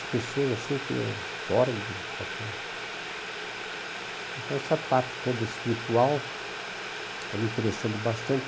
São pessoas assim que são fora de qualquer... Então essa parte toda espiritual está me interessando bastante.